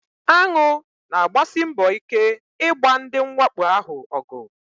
Aṅụ na-agbasi mbọ ike ịgba ndị mwakpo ahụ ọgụ.